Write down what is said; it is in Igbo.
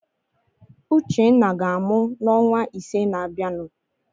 Uchenna ga-amụ n'ọnwa ise na-abịanụ.